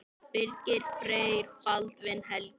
Birgir Freyr og Baldvin Helgi.